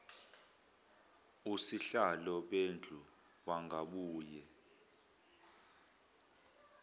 osihlalo bendlu bangabuye